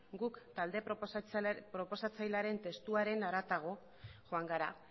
guk talde proposatzailearen testuaren harago joan gara